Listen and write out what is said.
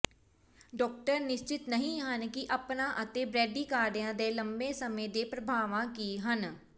doctor ਨਿਸ਼ਚਤ ਨਹੀਂ ਹਨ ਕਿ ਅਪਨਾ ਅਤੇ ਬ੍ਰੈਡੀਕਾਰਡਿਆ ਦੇ ਲੰਮੇ ਸਮੇਂ ਦੇ ਪ੍ਰਭਾਵਾਂ ਕੀ ਹਨ